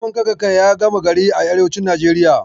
Noman kankana ya gama gari a arewacin Najeriya.